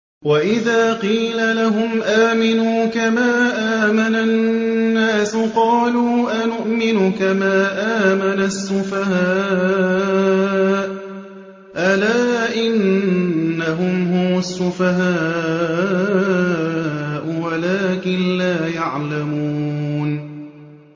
وَإِذَا قِيلَ لَهُمْ آمِنُوا كَمَا آمَنَ النَّاسُ قَالُوا أَنُؤْمِنُ كَمَا آمَنَ السُّفَهَاءُ ۗ أَلَا إِنَّهُمْ هُمُ السُّفَهَاءُ وَلَٰكِن لَّا يَعْلَمُونَ